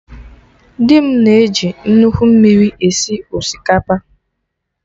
Dị m na eji nnukwu mmiri esi osikapa